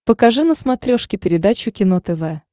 покажи на смотрешке передачу кино тв